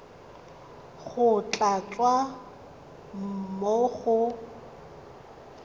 go tla tswa mo go